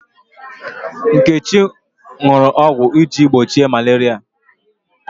Nkechi ṅụrụ ọgwụ iji gbochie malaria.